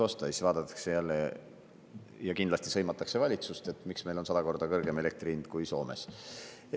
Aga siis vaadatakse jälle, ja kindlasti sõimatakse valitsust, et miks meil on sada korda kõrgem elektri hind kui Soomes.